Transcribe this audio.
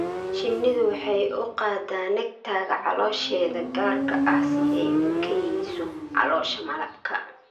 Shinnidu waxay u qaadaa nectar-ka caloosheeda gaarka ah si ay u kaydiso (caloosha malabka).